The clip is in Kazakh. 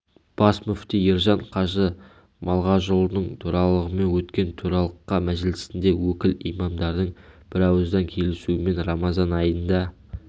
бас мүфти ержан қажы малғажыұлының төрағалығымен өткен төралқа мәжілісінде өкіл имамдардың бірауыздан келісуімен рамазан айында